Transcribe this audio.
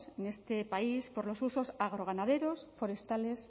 en este país por los usos agro ganaderos forestales